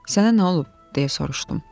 Sənə nə olub, - deyə soruşdum.